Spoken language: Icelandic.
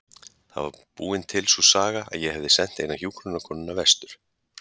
Það var búin til sú saga að ég hefði sent eina hjúkrunarkonuna vestur.